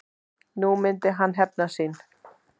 Nú myndi hann hefna sín.